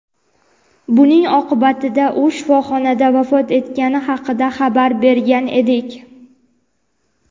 buning oqibatida u shifoxonada vafot etgani haqida xabar bergan edik.